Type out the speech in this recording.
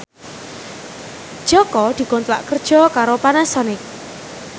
Jaka dikontrak kerja karo Panasonic